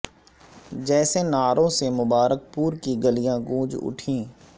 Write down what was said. جیسے نعروں سے مبارک پور کی گلیاں گونج اٹھیں